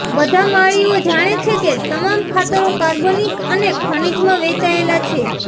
બધા માળીઓ જાણે છે કે તમામ ખાતરો કાર્બનિક અને ખનીજમાં વહેંચાયેલા છે